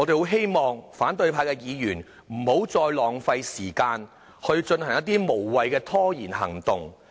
希望反對派議員不要再浪費時間作無謂的拖延。